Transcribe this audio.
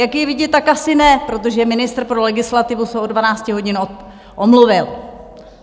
Jak je vidět, tak asi ne, protože ministr pro legislativu se od 12 hodin omluvil.